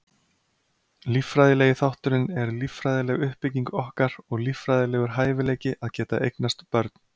Líffræðilegi þátturinn er líffræðileg uppbygging okkar og líffræðilegur hæfileiki að geta eignast börn.